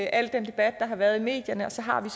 i al den debat der har været i medierne og så har vi